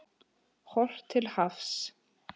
Horft til hafs.